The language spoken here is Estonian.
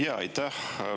Jaa, aitäh!